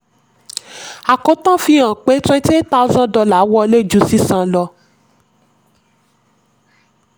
àkótán fi hàn pé pé twenty eight thousand dollar wọlé ju sísan lọ.